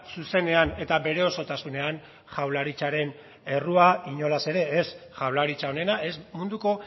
zuzenean eta bere osotasunean jaurlaritzaren errua inolaz ere ez jaurlaritza onena ez munduko